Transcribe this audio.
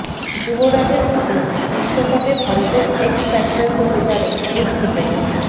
যুবরাজের মতে বিশ্বকাপে ভারতের এক্স ফ্যাক্টর হতে পারেন এই ক্রিকেটার